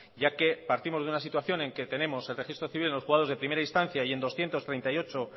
ya que partimos de una situación en que tenemos el registro civil en los juzgados de primera instancia y en doscientos treinta y ocho